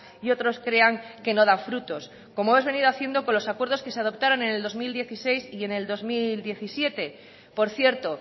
y otros crean que no da frutos como hemos venido haciendo con los acuerdos que se adoptaron en el dos mil dieciséis y en el dos mil diecisiete por cierto